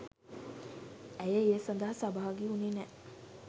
ඇය ඒ සඳහා සහභාගි වුණේ නැහැ.